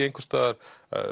einhvers staðar